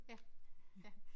Ja ja